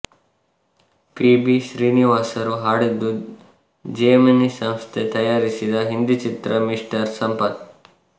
P B ಶ್ರೀನಿವಾಸರು ಹಾಡಿದ್ದು Gemini ಸಂಸ್ಥೆ ತಯಾರಿಸಿದ ಹಿಂದಿ ಚಿತ್ರ ಮಿಸ್ಟರ್ ಸಂಪತ್